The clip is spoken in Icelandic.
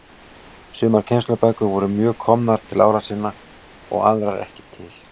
Sumar kennslubækur voru mjög komnar til ára sinna og aðrar ekki til.